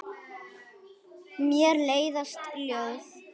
Mér leiðast ljóð.